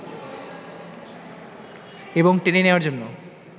এবং টেনে নেয়ার জন্য